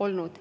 olnud.